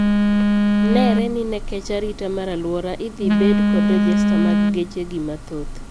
Neere ni ne kech arita mar aluora idhii bed kod rejesta mar geche gi mathoth.